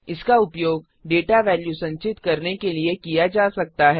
इसका उपयोग data value संचित करने के लिए किया जा सकता है